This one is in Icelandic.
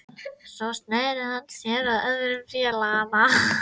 Svo sneri hann sér að öðrum félaganna